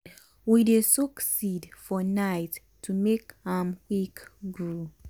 we dey soak seed for night to make am grow quick.